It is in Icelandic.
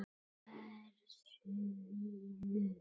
Hversu víður?